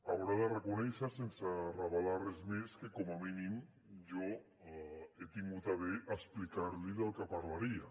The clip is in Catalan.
haurà de reconèixer sense revelar res més que com a mínim jo he tingut a bé explicar li del que parlaria